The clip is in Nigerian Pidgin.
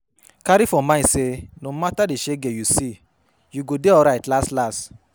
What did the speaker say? Carry for mind say no matter di shege you see you go de alright las las